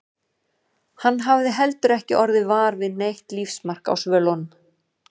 Hann hafði heldur ekki orðið var við neitt lífsmark á svölunum.